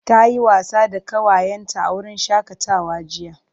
Ta yi wasa da ƙawayenta a wurin shakatawa jiya.